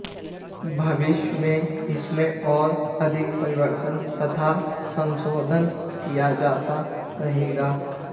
भविष्य में इसमें और अधिक परिवर्तन तथा संशोधन किया जाता रहेगा